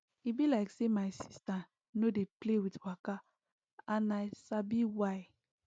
e be like say my sister no dey play with waka and now i sabi why